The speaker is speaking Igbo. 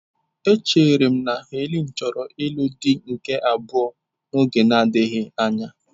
Echere m na Helen chọrọ ịlụ di nke abụọ n'oge na-adịghị anya.